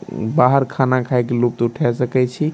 बाहर खाना खाय के लुफ्त उठाय सके छी ।